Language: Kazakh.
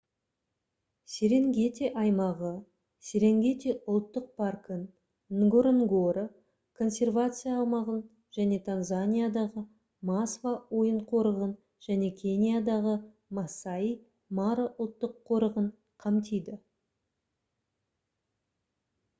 серенгети аймағы серенгети ұлттық паркын нгоронгоро консервация аумағын және танзаниядағы масва ойын қорығын және кениядағы масаи мара ұлттық қорығын қамтиды